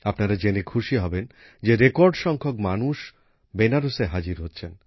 আপনারা জেনে খুশি হবেন যে রেকর্ড সংখ্যক মানুষ বেনারসে হাজির হচ্ছেন